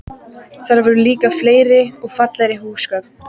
Þar voru líka fleiri og fallegri húsgögn.